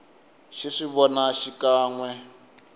xi swi vona xikan we